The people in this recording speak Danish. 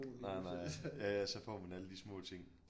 Nej nej ja ja så får man alle de små ting